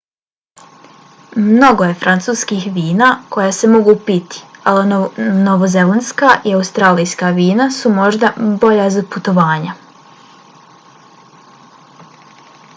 mnogo je francuskih vina koja se mogu piti ali novozelandska i australijska vina su možda bolja za putovanja